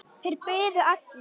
Þeir biðu allir.